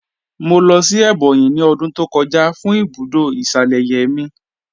Mọ̀ lọ́ sí Ebonyi ní ọ̀dún tó kọ̀jà fún ibùdó ìṣalẹ̀yẹ̀ mí.